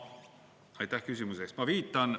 Aitäh küsimuse eest!